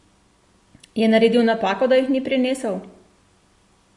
Je naredil napako, da jih ni prinesel?